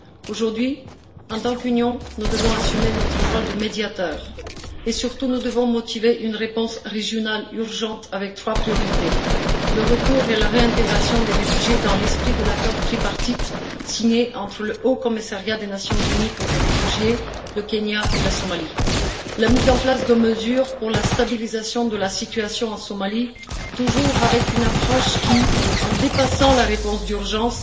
Aujourd'hui, en tant qu'Union, nous devons assumer notre rôle de médiateur et, surtout, nous devons motiver une réponse régionale urgente avec trois priorités tout d'abord, le retour et la réintégration des réfugiés dans l'esprit de l'accord tripartite signé entre le Haut Commissariat des Nations unies pour les réfugiés, le Kenya et la Somalie. Ensuite, la mise en place de mesures pour la stabilisation de la situation en Somalie, toujours avec une approche qui, en dépassant la réponse d'urgence,